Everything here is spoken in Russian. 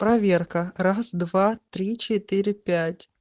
проверка раз два три четыре пять